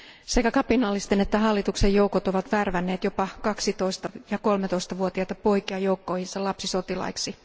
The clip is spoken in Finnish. Sekä kapinallisten että hallituksen joukot ovat värvänneet jopa 12 ja 13 vuotiaita poikia joukkoihinsa lapsisotilaiksi.